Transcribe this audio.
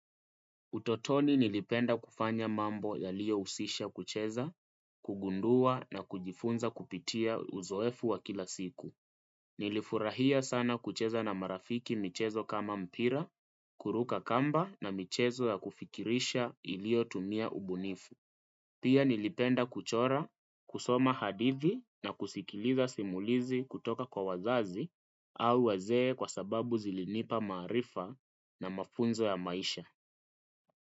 Utotoni nilipenda kufanya mambo yaliyo husisha kucheza, kugundua na kujifunza kupitia uzoefu wa kila siku. Nilifurahia sana kucheza na marafiki michezo kama mpira, kuruka kamba na michezo ya kufikirisha iliyo tumia ubunifu. Pia nilipenda kuchora, kusoma hadithi na kusikiliza simulizi kutoka kwa wazazi au wazee kwa sababu zilinipa maarifa na mafunzo ya maisha.